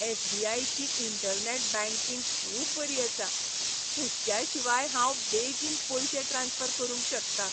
S. B. I. ची internet banking खूब बरी आसा. हुस्क्या शिवाय हांव बेगीन पयशे ट्रांस्फर करूंक शकता.